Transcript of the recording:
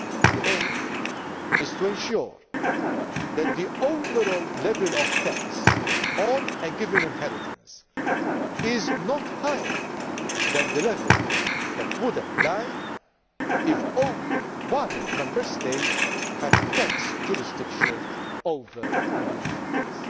The aim is to ensure that the overall level of tax on a given inheritance is not higher than the level that would apply if only one Member State had tax jurisdiction over the inheritance.